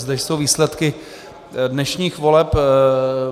Zde jsou výsledky dnešních voleb.